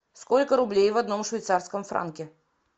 сколько рублей в одном швейцарском франке